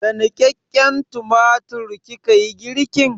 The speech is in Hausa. Da niƙaƙƙen tumatir kika yi girkin?